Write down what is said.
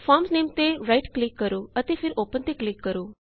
farm ਨਾਮੇ ਤੇ right click ਕਰੋ ਅਤੇ ਫੇਰ ਓਪਨ ਤੇ ਕਲਿਕ ਕਰੋ